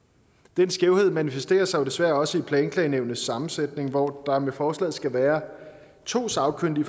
den skævhed manifesterer sig desværre også i planklagenævnets sammensætning hvor der med forslaget skal være to sagkyndige